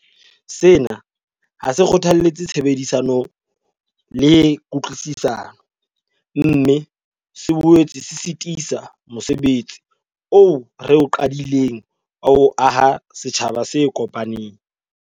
Sena ha se kgothalletse tshebedisano le kutlwisisano, mme se boetse se sitisa mose betsi oo re o qadileng wa ho aha setjhaba se kopaneng.